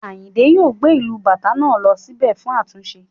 Ayinde yóò gbé ìlù Bàtá náà lọ sí bẹ̀ fún àtúnṣe